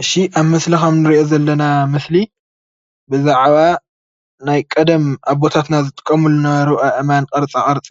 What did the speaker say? እሺ ኣብ ምስሊ ከም ንርእዮ ዘለና ምስሊ ብዛዕባ ናይ ቀደም ኣቦታትና ዝጥቀሙሉ ዝነበረ ኣእማን ቅርፃ ቅርፂ